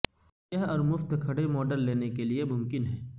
یہ اور مفت کھڑے ماڈل لینے کے لئے ممکن ہے